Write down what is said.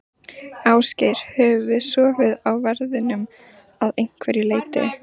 Ásgeir: Höfum við sofið á verðinum að einhverju leyti?